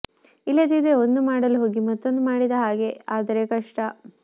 ಇಲ್ಲದಿದ್ದರೆ ಒಂದು ಮಾಡಲು ಹೋಗಿ ಮತ್ತೊಂದು ಮಾಡಿದ ಹಾಗೆ ಆದರೆ ಕಷ್ಟ